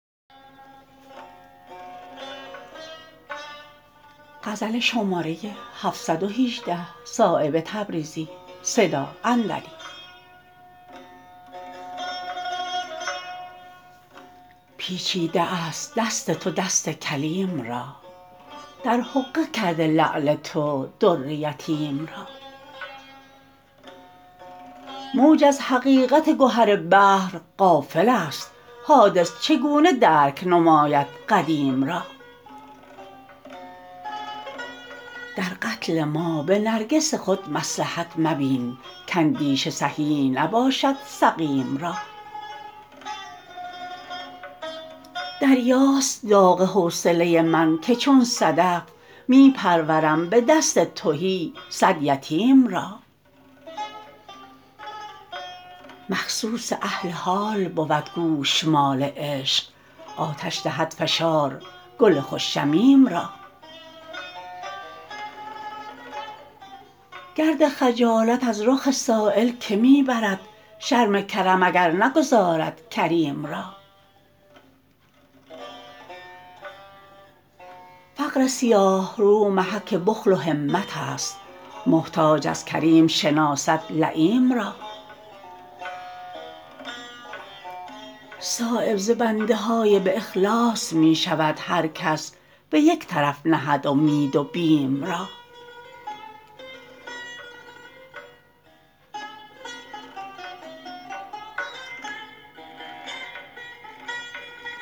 پیچیده است دست تو دست کلیم را در حقه کرده لعل تو در یتیم را موج از حقیقت گهر بحر غافل است حادث چگونه درک نماید قدیم را در قتل ما به نرگس خود مصلحت مبین کاندیشه صحیح نباشد سقیم را دریاست داغ حوصله من که چون صدف می پرورم به دست تهی صد یتیم را مخصوص اهل حال بود گوشمال عشق آتش دهد فشار گل خوش شمیم را گرد خجالت از رخ سایل که می برد شرم کرم اگر نگدازد کریم را فقر سیاهرو محک بخل و همت است محتاج از کریم شناسد لییم را صایب ز بنده های باخلاص می شود هر کس به یک طرف نهد امید و بیم را